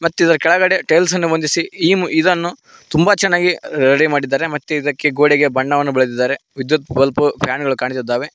ಮತ್ತು ಇದರ ಕೆಳಗಡೆ ಟೈಲ್ಸ್ ಗಳನ್ನು ಹೊಂದಿಸಿ ಇ ಇದನ್ನು ತುಂಬಾ ಚೆನ್ನಾಗಿ ರೆಡಿ ಮಾಡಿದ್ದಾರೆ ಮತ್ತೆ ಇದಕ್ಕೆ ಗೋಡೆಗೆ ಬಣ್ಣವನ್ನು ಬೆಳೆದಿದ್ದಾರೆ ವಿದ್ಯುತ್ ಬಲ್ಪು ಫ್ಯಾನು ಗಳು ಕಾಣಿಸಿದ್ದಾವೆ.